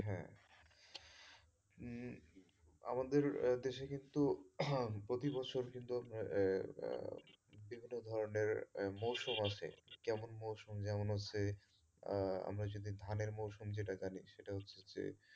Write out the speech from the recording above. উম আমাদের দেশে কিন্তু প্রতি বছর কিন্তু আহ বিভিন্ন ধরনের মৌসম আসে কেমন মৌসম যেমন হচ্ছে আহ আমরা যদি ধানের মৌসম যেটা জানি সেটা হচ্ছে যে,